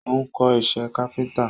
Ó ń kọ́ isẹ́ káfíntà.